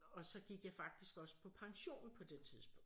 Og så gik jeg faktisk også på pension på det tidspunkt